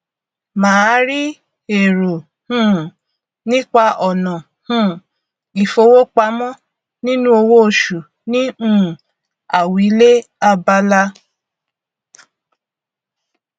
màá rí èrò um nípa ọnà um ìfowópamọ nínú owóoṣù ní um àwílé abala